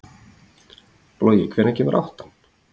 Logi, hvenær kemur áttan?